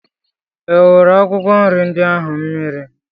I wụrụ akwụkwọ nri ndị ahụ mmiri?